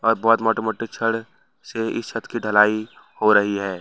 वह बहुत मोटे मोटे छड़ से इस छत की ढलाई हो रही है।